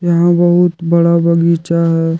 यहां बहुत बड़ा बगीचा है।